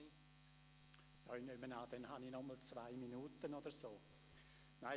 Ich nehme an, dass ich nochmals zwei Minuten zur Verfügung habe?